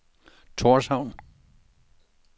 Torshavn